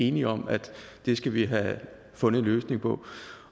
enige om at det skal vi have fundet en løsning på